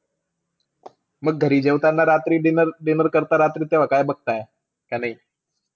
म घरी जेवताना रात्री dinner-dinner करता रात्री तेव्हा काय बघताय? का नाई?